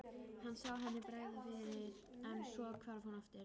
Hann sá henni bregða fyrir en svo hvarf hún aftur.